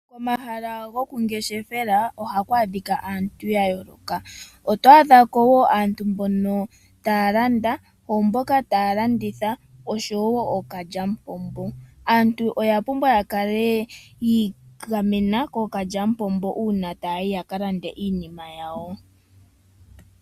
Omahala gokungeshefela oha ku adhika aantu ya yooloka ,oto adhako wo aantu mbono taya landa, oomboka taya landitha osho wo ookalyamupombo, aantu oya pumbwa okukala ya igamena kookalyamupombo uuna taya yi yaka lande iinima yawo.